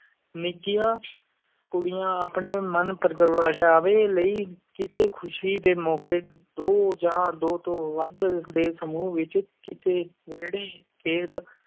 ਨਿੱਕੀਆਂ ਕੁੜੀਆਂ ਆਪਣੇ ਮਨ-ਪ੍ਰਗਟਾਵੇ ਲਈ, ਕਿਸੇ ਖ਼ੁਸ਼ੀ ਦੇ ਮੌਕੇ, ਦੋ ਜਾਂ ਦੋ ਤੋਂ ਵੱਧ ਦੇ ਸਮੂਹ ਵਿੱਚ ਕਿਸੇ ਵਿਹੜੇ, ਖੇਤ,